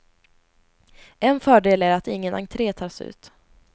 En fördel är att ingen entre tas ut.